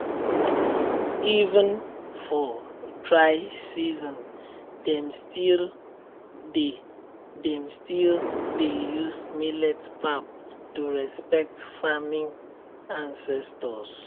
even for dry season dem still dey dem still dey use millet pap to respect farming ancestors.